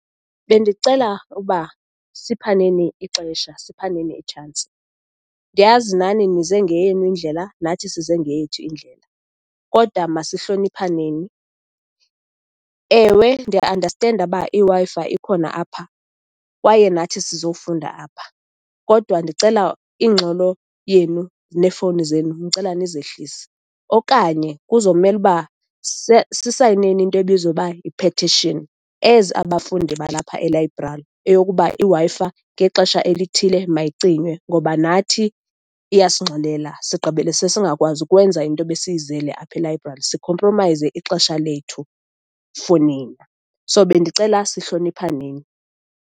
Bendicela uba siphaneni ixesha, siphaneni itshansi. Ndiyazi nani nize ngeyenu ndlela, nathi size ngeyethu indlela, kodwa masihloniphaneni. Ewe, ndiya andastenda uba iWi-Fi ikhona apha kwaye nathi sizofunda apha, kodwa ndicela ingxolo yenu neefowuni zenu, ndicela nizehlise, okanye kuzomele uba sisayineni into ebizwa uba yi-petition as abafundi balapha elayibrari eyokuba iWi-Fi ngexesha elithile mayicinywe, ngoba nathi iyasingxolela. Sigqibilese singakwazi ukwenza into ebesiyizele apha elayibrari, sikhompromayize ixesha lethu for nina. So, bendicela sihloniphaneni.